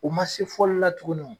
O ma se fɔli la tuguni